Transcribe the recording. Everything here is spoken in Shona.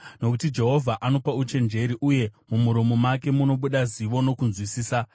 Nokuti Jehovha anopa uchenjeri, uye mumuromo make munobuda zivo nokunzwisisa.